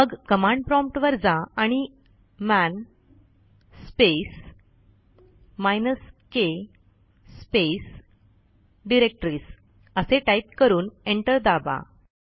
मग कमांड promptवर जा आणि man space minus k space directories असे टाईप करून एंटर दाबा